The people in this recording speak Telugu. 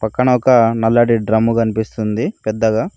కనొక నల్లటి డ్రమ్ము కనిపిస్తుంది పెద్దగా.